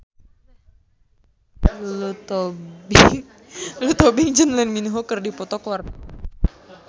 Lulu Tobing jeung Lee Min Ho keur dipoto ku wartawan